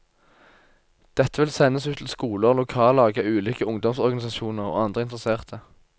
Dette vil sendes ut til skoler, lokallag av ulike ungdomsorganisasjoner og andre interesserte.